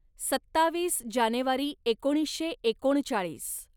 सत्तावीस जानेवारी एकोणीसशे एकोणचाळीस